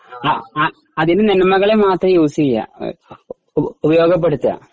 ആ അതിനു മാത്രം യൂസ് ചെയ്യുക ഉപയോഗപ്പെടുത്തുക